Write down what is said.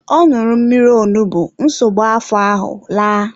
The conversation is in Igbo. Ọ ṅụrụ mmírí onugbu nsogbu afọ ahụ laa.